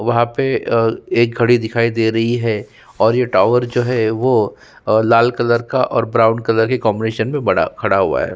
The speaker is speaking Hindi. वहां पे आ एक घडी दिखाई दे रही है और ये टावर जो है वो लाल कलर का और ब्राउन कलर के कॉम्बिनेशन मे बड़ा खड़ा हुआ है।